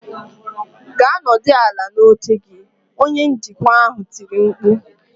"Gaa nọdụ ala n'oche gị" Onye njikwa ahụ tiri mkpu